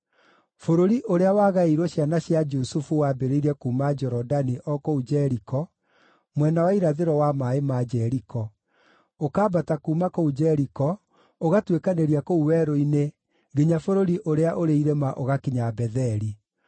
Bũrũri ũrĩa wagaĩirwo ciana cia Jusufu wambĩrĩirie kuuma Jorodani o kũu Jeriko, mwena wa irathĩro wa maaĩ ma Jeriko, ũkambata kuuma kũu Jeriko, ũgatuĩkanĩria kũu werũ-inĩ nginya bũrũri ũrĩa ũrĩ irĩma ũgakinya Betheli.